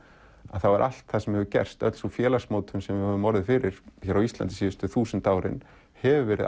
er allt sem hefur gerst öll sú félagsmótum sem við höfum orðið fyrir hér á Íslandi síðustu þúsund árin hefur verið